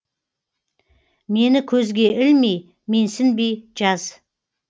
мені көзге ілмей менсінбей жаз